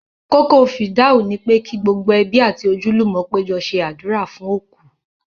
Kókó fìdáù ni pé kí gbogbo ẹbí àti ojúlùmọ̀ péjọ ṣe àdúrà fún òkú